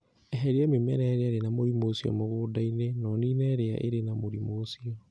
Eheria mĩmera ĩrĩa ĩrĩ na mũrimũ ũcio mũgũnda-inĩ na ũniine ĩrĩa ĩrĩ na mũrimũ ũcio.